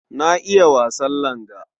Na iya wasan langa.